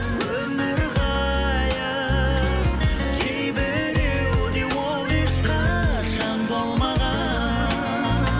өмір ғайып кейбіреуде ол ешқашан болмаған